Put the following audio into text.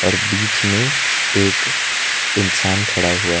बीच में एक इंसान खड़ा हुआ --